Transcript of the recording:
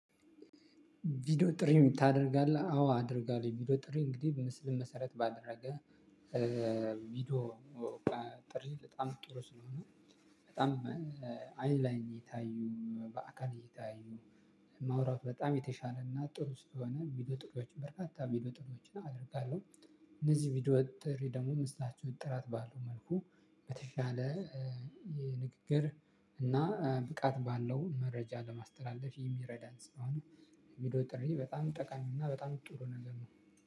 ቪዲዮ ጥሪ ታደርጋለህ አዎ አደርጋለሁ ቪዲዮ ጥሪ እንግዲህ ምስል መሰረት ባደረገ ቪዲዮ ጥሪ በጣም ጥሪ ስለሆነ በጣም አይን ላይን እየታዩ በአካል እየታዩ ማውራት በጣም የተሻለ እና ጥሩ ስለሆነ ቢዶ ጥሪዎችን በርካታ ቢዶ ጥሪዎችን አደርጋለሁ። እነዚህ ቪዲዮ ጥሪ ደግሞ መስላቸው ጥራት ባለው መልኩ በተሻለ የንግግር እና ብቃት ባለው መረጃ ለማስተላለፍ የሚረዳን ስለሆነ። ቪዲዮ ጥሪ በጣም ጠቃሚ እና በጣም ጥሩ ነገር ነው።